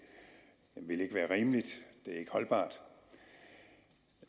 vil ikke være rimeligt det er ikke holdbart